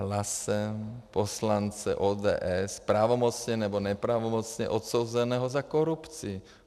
Hlasem poslance ODS pravomocně nebo nepravomocně odsouzeného za korupci.